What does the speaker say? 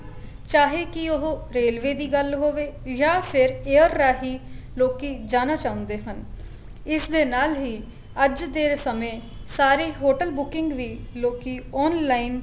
ਚਾਹੇ ਕੀ ਉਹ railway ਦੀ ਗੱਲ ਹੋਵੇ ਜਾਂ ਫੇਰ air ਰਹੀ ਲੋਕੀ ਜਾਣਾ ਚਾਉਂਦੇ ਹਨ ਇਸ ਦੇ ਨਾਲ ਹੀ ਅੱਜ ਦੇ ਸਮੇ ਸਾਰੀ hotel booking ਵੀ ਲੋਕੀ online